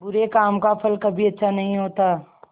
बुरे काम का फल कभी अच्छा नहीं होता